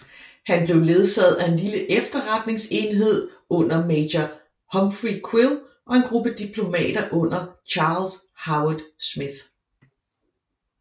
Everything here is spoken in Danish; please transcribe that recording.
Han blev ledsaget af en lille efterretningsenhed under major Humphrey Quill og en gruppe diplomater under Charles Howard Smith